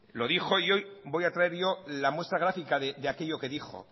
lo dijo y hoy voy a traer yo la muestra gráfica de aquello que dijo